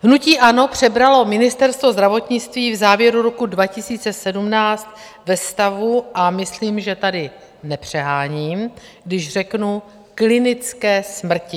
Hnutí ANO přebralo Ministerstvo zdravotnictví v závěru roku 2017 ve stavu - a myslím, že tady nepřeháním, když řeknu klinické smrti.